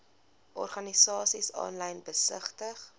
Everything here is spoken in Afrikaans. organisasies aanlyn besigtig